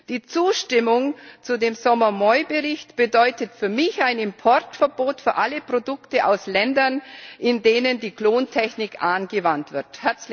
Die Zustimmung zum Bericht Sommer Moi bedeutet für mich ein Importverbot für alle Produkte aus Ländern, in denen die Klontechnik angewandt wird.